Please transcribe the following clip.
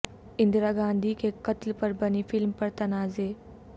اندرا گاندھی کے قتل پر بنی فلم پر تنازع